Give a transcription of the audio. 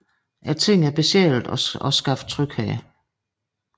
Tingene er besjælede og skaber tryghed